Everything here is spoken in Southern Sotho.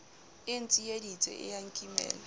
e ntsieditse e a nkimela